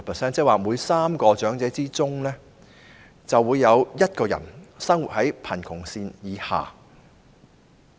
這即是說，每3名長者之中，便有1人生活在貧窮線以下。